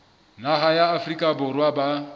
naha ya afrika borwa ba